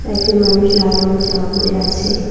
একজন মানুষ লাল রঙের জামা পরে আছে।